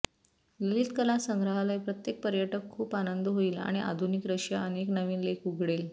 ललित कला संग्रहालय प्रत्येक पर्यटक खूप आनंद होईल आणि आधुनिक रशिया अनेक नवीन लेख उघडेल